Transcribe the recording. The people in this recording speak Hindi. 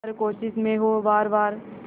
हर कोशिश में हो वार वार